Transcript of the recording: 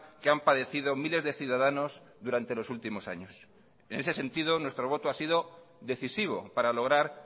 que han padecido miles de ciudadanos durante los últimos años en ese sentido nuestro voto ha sido decisivo para lograr